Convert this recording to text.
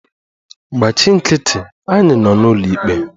Gbachi nkịtị! Anyị nọ n'ụlọikpe.